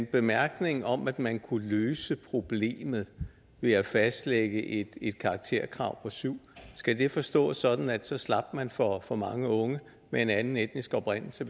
bemærkningen om at man kunne løse problemet ved at fastlægge et karakterkrav på syv forstås sådan at så slap man for for mange unge med en anden etnisk oprindelse